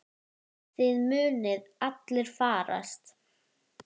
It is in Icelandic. Þið munuð allir farast.